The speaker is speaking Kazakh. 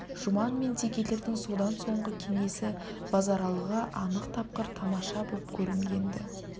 жұман мен текелердің содан соңғы кеңесі базаралыға анық тапқыр тамаша боп кәрінген-ді